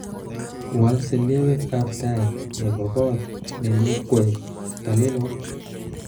wal selewek ab tai nebo kot nenuu koek talelot